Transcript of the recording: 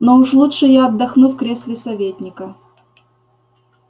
но уж лучше я отдохну в кресле советника